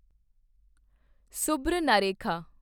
Subarnarekha